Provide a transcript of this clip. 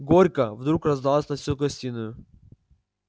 горько вдруг раздалось на всю гостиную